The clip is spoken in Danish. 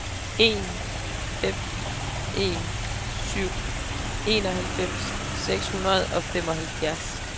en fem en syv enoghalvfems seks hundrede og femoghalvfjerds